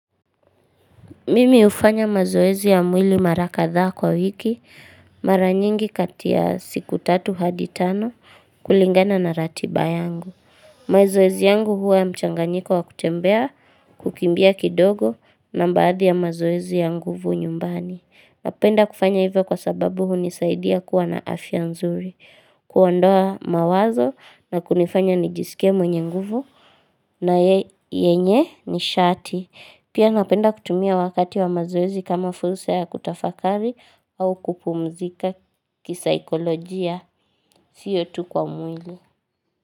Mimi hufanya mazoezi ya mwili mara kadhaa kwa wiki mara nyingi kati ya siku 3 hadi 5 kulingana na ratiba yangu. Mazoezi yangu huwa mchanganyiko wa kutembea, kukimbia kidogo na baadhi ya mazoezi ya nguvu nyumbani. Napenda kufanya hivyo kwa sababu hunisaidia kuwa na afya nzuri, kuondoa mawazo na kunifanya nijisike mwenye nguvu na yenye nishati. Pia napenda kutumia wakati wa mazoezi kama fulsa ya kutafakari au kupumzika kisaikolojia, siyo tu kwa mwili.